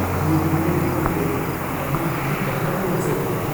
ᱵᱟᱹᱭ ᱵᱟᱹᱭᱛᱮ ᱾ ᱢᱟᱲᱟᱝ ᱨᱮ ᱟᱭᱢᱟ ᱦᱟᱹᱛᱤ ᱰᱟᱦᱟᱨ ᱠᱚ ᱮᱥᱮᱫ ᱮᱫᱟ ᱾